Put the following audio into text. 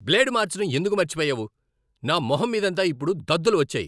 Blade మార్చటం ఎందుకు మర్చిపోయావు? నా మొహం మీదంతా ఇప్పుడు దద్దులు వచ్చాయి.